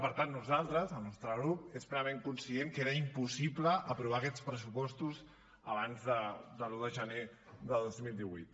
per tant nosaltres el nostre grup és plenament conscient que era impossible aprovar aquests pressupostos abans de l’un de gener de dos mil divuit